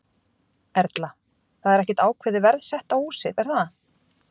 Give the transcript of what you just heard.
Erla: Það er ekkert ákveðið verð sett á húsið, er það?